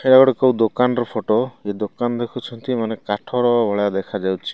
ଏଟା ଗୋଟେ କୋଉ ଦୋକାନର ଫୋଟ ଏ ଦୋକାନ ଦେଖୁଛନ୍ତି ମାନେ କାଠର ଭଳିଆ ଦେଖାଯାଉଛି।